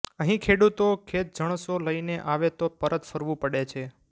અહીં ખેડૂતો ખેતજણસો લઈને આવે તો પરત ફરવું પડે છે